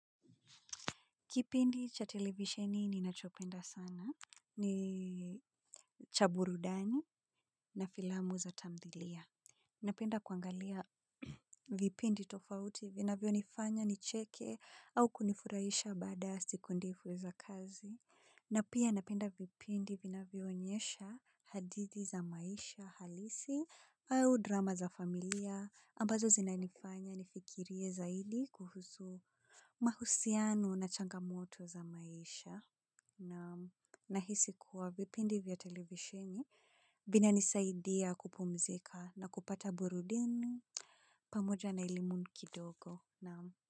Kipindi cha televisioni ninachopenda sana ni cha burudani na filamu za tamthilia. Napenda kuangalia vipindi tofauti vinavyonifanya nicheke au kunifurahisha baada ya siku ndefu za kazi. Na pia napenda vipindi vinavyo onyesha hadithi za maisha halisi au drama za familia ambazo zinanifanya nifikirie zaidi kuhusu. Mahusiano na changamoto za maisha. Nahisi kuwa vipindi vya televisheni vinanisaidia kupumzika na kupata burudani pamoja na elimu kidogo. Naam.